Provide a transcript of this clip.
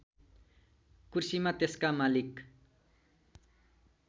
कुर्सीमा त्यसका मालिक